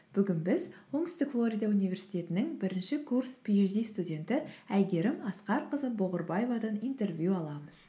бүгін біз оңтүстік флорида университетінің бірінші курс пиэйчди студенті әйгерім асқарқызы бұғырбаевадан интервью аламыз